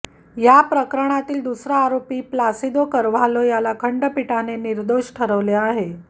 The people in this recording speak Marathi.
या प्रकरणातील दुसरा आरोपी प्लासिदो कार्व्हालो याला खंडपीठाने निर्दोष ठरवले आहे